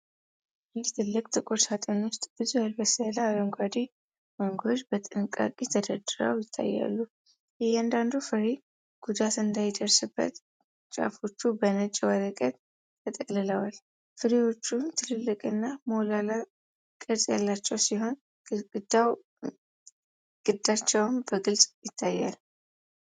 በአንድ ትልቅ ጥቁር ሣጥን ውስጥ ብዙ ያልበሰሉ አረንጓዴ ማንጎዎች በጥንቃቄ ተደርድረው ይታያሉ። እያንዳንዱ ፍሬ ጉዳት እንዳይደርስበት ጫፎቹ በነጭ ወረቀት ተጠቅልለዋል። ፍሬዎቹ ትልልቅና ሞላላ ቅርፅ ያላቸው ሲሆን፤ ግንዳቸውም በግልጽ ይታያል።